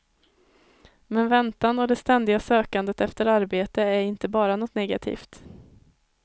Men väntan och det ständiga sökandet efter arbete är inte bara något negativt.